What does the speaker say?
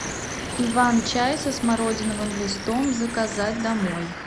иван чай со смородиновым листом заказать домой